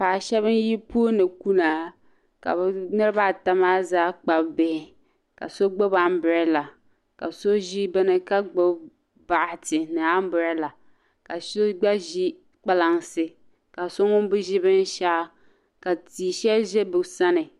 Paɣa shɛba n-yi puuni kuna ka be niriba ata maa zaa Kpabi bihi ka so gbubi "umbrella" ka so ʒi beni ka gbubi bukata ni "umbrella" ka so gba ʒi kpalaŋsi ka so ŋun be ʒi binshɛɣu ka ti'shɛli ʒe be sani.